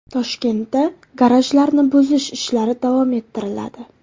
Toshkentda garajlarni buzish ishlari davom ettiriladi.